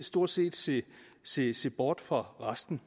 stort set se set se bort fra resten